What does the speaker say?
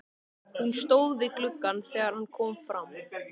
Hún stóð við gluggann þegar hann kom fram.